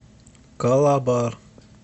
калабар